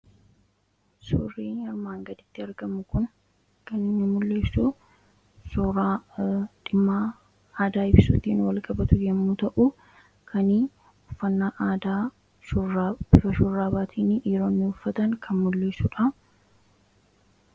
suurri armaan gaditti argamu kun kan inni mul'isu suura dhimma aadaa ibsuutiin walqabatu yammuu ta'u kan uffannaa aadaatiin bifa shurraabaatin dhiironni uffatan kan mul'isudha.